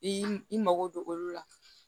I mago don olu la